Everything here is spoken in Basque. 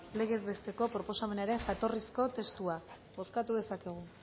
legez besteko proposamenaren jatorrizko testua bozkatu dezakegu